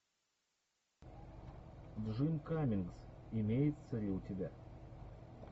джим каммингс имеется ли у тебя